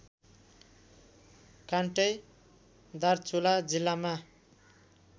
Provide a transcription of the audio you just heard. कान्टै दार्चुला जिल्लामा